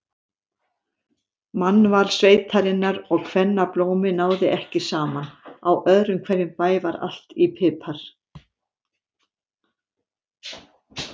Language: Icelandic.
Mannval sveitarinnar og kvennablómi náði ekki saman, á öðrum hverjum bæ var allt í pipar.